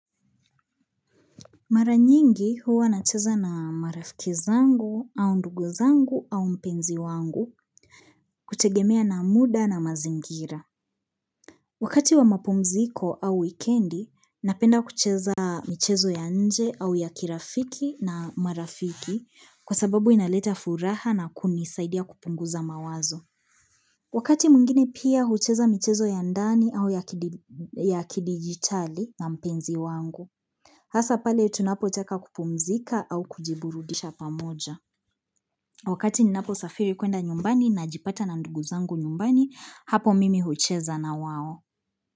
Mara nyingi huwa nacheza na marafiki zangu au ndugu zangu au mpenzi wangu kutegemea na muda na mazingira. Wakati wa mapumziko au weekendi, napenda kucheza michezo ya nje au ya kirafiki na marafiki kwa sababu inaleta furaha na kunisaidia kupunguza mawazo. Wakati mwingine pia hucheza michezo ya ndani au ya kidigitali na mpenzi wangu. Hasa pale tunapotaka kupumzika au kujiburudisha pamoja Wakati ninaposafiri kwenda nyumbani najipata na ndugu zangu nyumbani hapo mimi hucheza na wao.